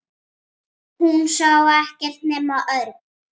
Hún sá ekkert nema Örn.